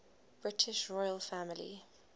british royal family